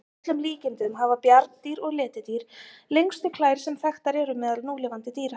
Að öllum líkindum hafa bjarndýr og letidýr lengstu klær sem þekktar eru meðal núlifandi dýra.